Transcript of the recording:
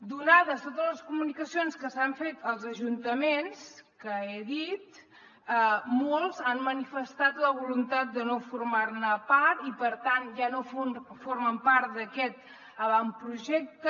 donades totes les comunicacions que s’han fet als ajuntaments que he dit molts han manifestat la voluntat de no formar ne part i per tant ja no formen part d’aquest avantprojecte